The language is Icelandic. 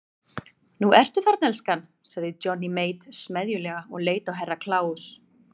Nú ertu þarna elskan, sagði Johnny Mate smeðjulega og leit á Herra Kláus.